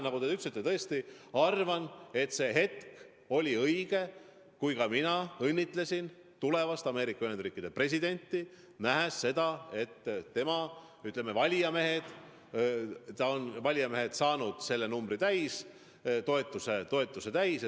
Nagu te ütlesite, ma tõesti arvasin, et on juba õige hetk õnnitleda tulevast Ameerika Ühendriikide presidenti, kui ma nägin, et ta on vajaliku valijameeste numbri täis saanud, toetuse täis saanud.